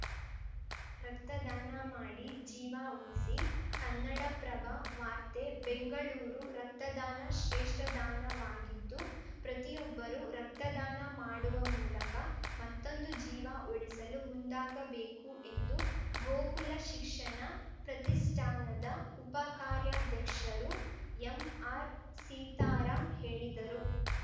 ರಕ್ತದಾನ ಮಾಡಿ ಜೀವ ಉಳಿಸಿ ಕನ್ನಡಪ್ರಭ ವಾರ್ತೆ ಬೆಂಗಳೂರು ರಕ್ತದಾನ ಶ್ರೇಷ್ಟದಾನವಾಗಿದ್ದು ಪ್ರತಿಯೊಬ್ಬರು ರಕ್ತದಾನ ಮಾಡುವ ಮೂಲಕ ಮತ್ತೊಂದು ಜೀವ ಉಳಿಸಲು ಮುಂದಾಗಬೇಕು ಎಂದು ಗೋಕುಲ ಶಿಕ್ಷಣ ಪ್ರತಿಷ್ಠಾನದ ಉಪಕಾರ್ಯಾಧ್ಯಕ್ಷರು ಎಂಆರ್‌ಸೀತಾರಾಂ ಹೇಳಿದರು